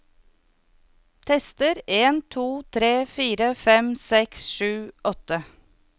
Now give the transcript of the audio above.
Tester en to tre fire fem seks sju åtte